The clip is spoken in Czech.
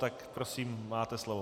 Tak prosím máte slovo.